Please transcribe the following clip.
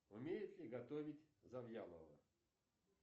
умеет ли готовить завьялова